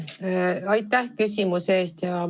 Aitäh küsimuse eest!